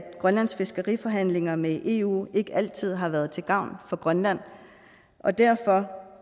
grønlands fiskeriforhandlinger med eu ikke altid har været til gavn for grønland og derfor